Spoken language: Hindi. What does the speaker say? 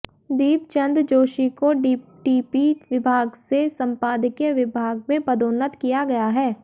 दीपचंद जोशी को डीटीपी विभाग से संपादकीय विभाग में पदोन्नत किया गया है